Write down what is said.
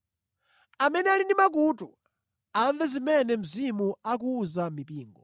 Amene ali ndi makutu, amve zimene Mzimu akuwuza mipingo.”